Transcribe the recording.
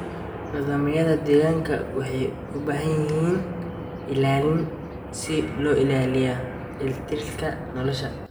Nidaamyada deegaanka waxay u baahan yihiin ilaalin si loo ilaaliyo dheelitirka nolosha.